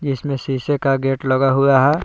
जिसमें शीशे का गेट लगा हुआ है।